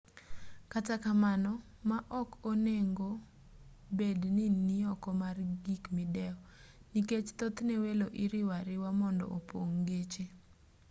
kata kamano ma ok onengo bed ni nioko mar gik midewo nikech thothne welo iriwo ariwa mondo opong' geche